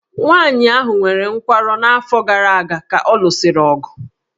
Nwaanyị ahụ nwere nkwarụ n'afọ gara aga ka ọ lụsịrị ọgụ